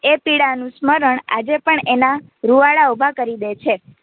એ પીડાનું સ્મરણ આજે પણ એના રૂવાંડા ઉભા કરી દે છે.